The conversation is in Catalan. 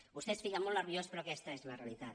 vostè es fica molt nerviós però aquesta és la realitat